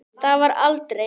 Það varð aldrei.